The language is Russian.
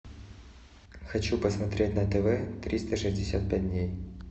хочу посмотреть на тв триста шестьдесят пять дней